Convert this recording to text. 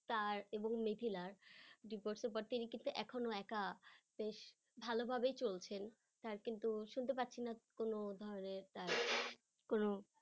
তার এবং মিথিলার এখনো একা বেশ ভালোভাবে চলছেন তার কিন্তু শুনতে পাচ্ছি না কোন ধরনের তার কোন